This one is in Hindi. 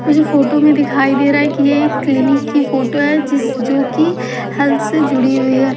मुझे फोटो में दिखाई दे रहा है कि ये एक क्लीनिक की फोटो है जिस जोकि हेल्थ से जुड़ी हुई है।